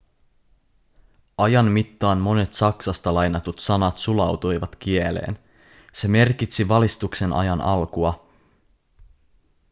ajan mittaan monet saksasta lainatut sanat sulautuivat kieleen se merkitsi valistuksen ajan alkua